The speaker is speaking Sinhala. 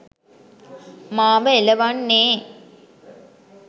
මාව එළවන්නේ